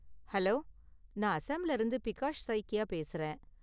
Hello! நான் அஸ்ஸாம்ல இருந்து பிகாஷ் சைக்கியா பேசுறேன்.